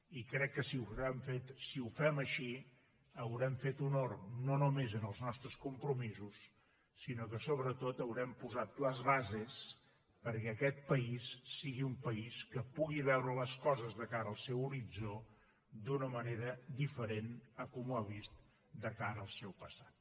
i crec que si ho fem així haurem fet honor no només als nostres compromisos sinó que sobretot haurem posat les bases perquè aquest país sigui un país que pugui veure les coses de cara al seu horitzó d’una manera diferent de com ho ha vist de cara al seu passat